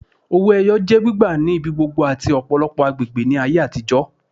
Owó ẹyọ jẹ́ gbígbà ni ibigbogbo ati ọpọlọpọ agbègbè ni ayé atijọ